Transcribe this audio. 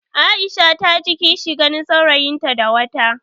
Aisha ta ji kishi ganin saurayinta da wata.